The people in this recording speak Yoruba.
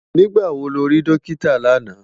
Nigbá wó ló ri Dókitá làná?